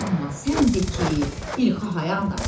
Amma sən de ki, İlkhı hayan daydı?